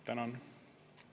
Tänan!